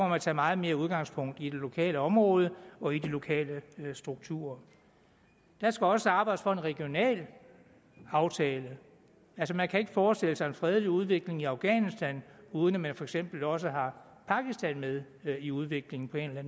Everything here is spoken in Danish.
man tage meget mere udgangspunkt i det lokale område og i de lokale strukturer der skal også arbejdes for en regional aftale altså man kan ikke forestille sig en fredelig udvikling i afghanistan uden at man for eksempel også har pakistan med i udviklingen på en eller